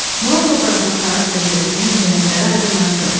Murad obrazının xarakterindəki mühüm cəhətləri aydınlaşdırın.